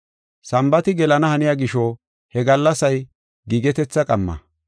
Sambaati gelana haniya gisho, he gallasay giigetetha qamma.